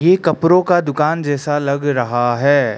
ये कपड़ों का दुकान जैसा लग रहा है।